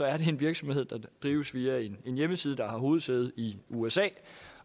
er det en virksomhed der drives via en hjemmeside der har hovedsæde i usa